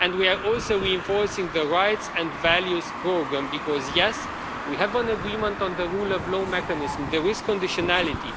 And we are also reinforcing the Rights and Values Programme because, yes, we have an agreement on the rule of law mechanism, there is conditionality.